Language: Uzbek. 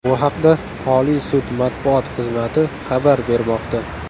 Bu haqda Oliy sud matbuot xizmati xabar bermoqda.